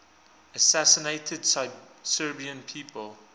assassinated serbian people